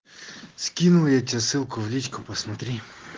скинул я тебе ссылку в личку посмотри